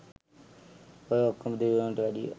ඔය ඔක්කොම දෙවිවරුන්ට වැඩිය